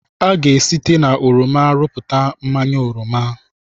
A ga-esite na oroma rụpụta mmanya oroma.